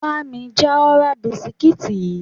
Bá mi já ọ̀rá bisikíìtì yìí!